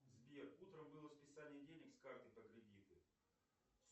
сбер утром было списание денег с карты по кредиту